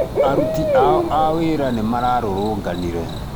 aruti ao a wĩra nĩ marũrũnganire